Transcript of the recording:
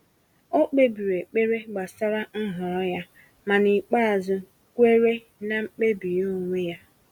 O kpebiri ekpere gbasara nhọrọ ya, ma n’ikpeazụ kweere na mkpebi ya onwe ya.